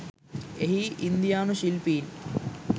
එහි ඉන්දියානු ශිල්පීන්